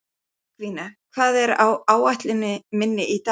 Tryggvína, hvað er á áætluninni minni í dag?